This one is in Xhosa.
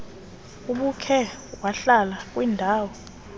ubukhe wahlala kwindaw